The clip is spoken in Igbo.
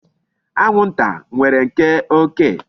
Anwụnta nwere nke oké.